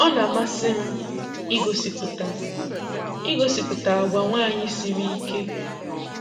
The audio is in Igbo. ọ na-amasị m ịgosịpụta ịgosịpụta agwa nwaanyị siri ike.